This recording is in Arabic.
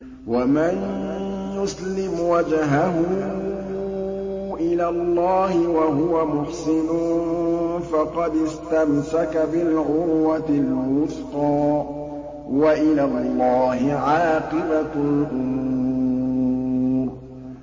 ۞ وَمَن يُسْلِمْ وَجْهَهُ إِلَى اللَّهِ وَهُوَ مُحْسِنٌ فَقَدِ اسْتَمْسَكَ بِالْعُرْوَةِ الْوُثْقَىٰ ۗ وَإِلَى اللَّهِ عَاقِبَةُ الْأُمُورِ